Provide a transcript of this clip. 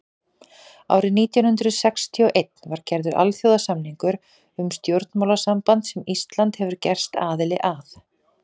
árið nítján hundrað sextíu og einn var gerður alþjóðasamningur um stjórnmálasamband sem ísland hefur gerst aðili að